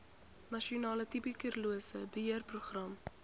nasionale tuberkulose beheerprogram